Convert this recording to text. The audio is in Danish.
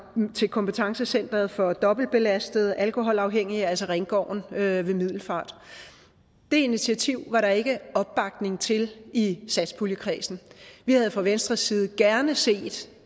til kompetencecenteret for dobbeltbelastede alkoholafhængige altså ringgården ved middelfart det initiativ var der ikke opbakning til i satspuljekredsen vi havde fra venstres side gerne set